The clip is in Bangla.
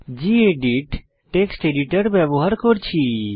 গেদিত টেক্সট এডিটর ব্যবহার করছি